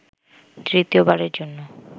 তৃতীয়বারের জন্য